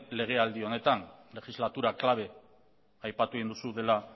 legealdia honetan legislatura clave aipatu egin duzu dela